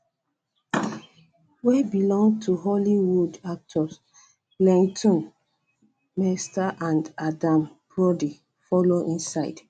wey belong to hollywood um actors leighton um meester and adam brody follow inside